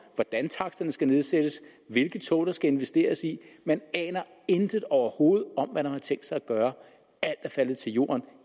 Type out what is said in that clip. hvordan taksterne skal nedsættes og hvilke tog der skal investeres i man aner intet overhovedet om hvad man har tænkt sig at gøre alt er faldet til jorden